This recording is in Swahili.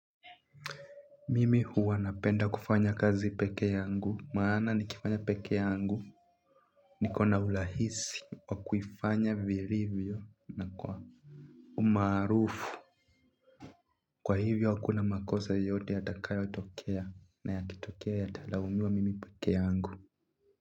Mimi huwa napenda kufanya kazi peke yangu maana nikifanya peke yangu nikona rlahisi wa kufanya vilivyo na kwa umarufu. Kwa hivyo hakuna makosa yote yatakayo tokea na yakitokea yatalaumiwa mimi peke yangu.